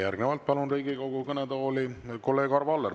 Järgnevalt palun Riigikogu kõnetooli kolleeg Arvo Alleri.